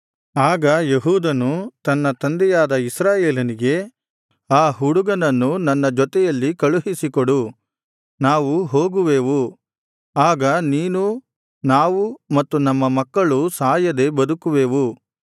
ಆಗ ಯೆಹೂದನು ತನ್ನ ತಂದೆಯಾದ ಇಸ್ರಾಯೇಲನಿಗೆ ಆ ಹುಡುಗನನ್ನು ನನ್ನ ಜೊತೆಯಲ್ಲಿ ಕಳುಹಿಸಿಕೊಡು ನಾವು ಹೋಗುವೆವು ಆಗ ನೀನೂ ನಾವು ಮತ್ತು ನಮ್ಮ ಮಕ್ಕಳೂ ಸಾಯದೆ ಬದುಕುವೆವು